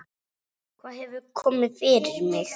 Hvað hefur komið fyrir mig?